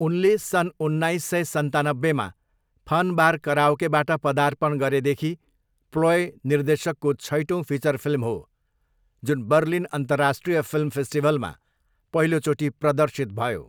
उनले सन् उन्नाइस सय सन्तानब्बेमा फन बार कराओकेबाट पदार्पण गरेदेखि प्लोय निर्देशकको छैटौँ फिचर फिल्म हो, जुन बर्लिन अन्तर्राष्ट्रिय फिल्म फेस्टिभलमा पहिलोचोटि प्रदर्शित भयो।